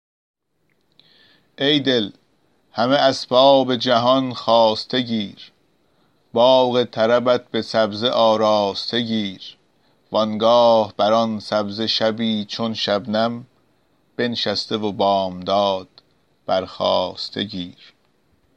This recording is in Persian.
ای دل همه اسباب جهان خواسته گیر باغ طربت به سبزه آراسته گیر و آنگاه بر آن سبزه شبی چون شبنم بنشسته و بامداد برخاسته گیر